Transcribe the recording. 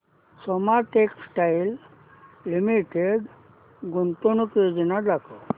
Soma textile limited गुंतवणूक योजना दाखव